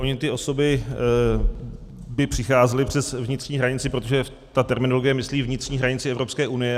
Ony ty osoby by přicházely přes vnitřní hranici, protože ta terminologie myslí vnitřní hranici Evropské unie.